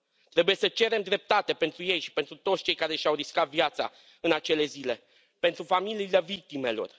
Trebuie să cerem dreptate pentru ei și pentru toți cei care și au riscat viața în acele zile, pentru familiile victimelor.